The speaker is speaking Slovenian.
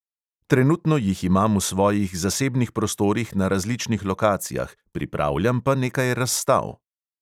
Trenutno jih imam v svojih zasebnih prostorih na različnih lokacijah, pripravljam pa nekaj razstav.